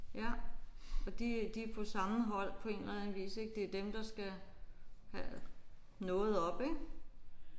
Ja og de de er på samme hold på en eller anden vis ik. Det er dem der skal have noget op ik